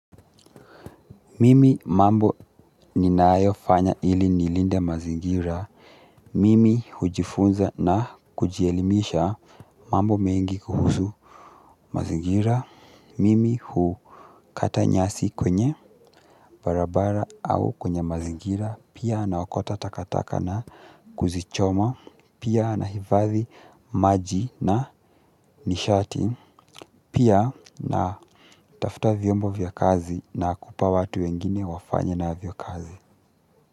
Mimi mambo ninaayo fanya ili nilinde mazingira. Mimi hujifunza na kujielimisha mambo mengi kuhusu mazingira. Mimi hukata nyasi kwenye barabara au kwenye mazingira. Pia nawakota takataka na kuzichoma. Pia nahivathi maji na nishati. Pia natafta viombo vya kazi na kupa watu wengine wafanye navyo kazi.